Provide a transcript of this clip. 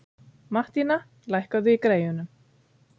Mattína, lækkaðu í græjunum.